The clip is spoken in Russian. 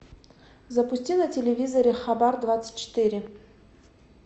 запусти на телевизоре хабар двадцать четыре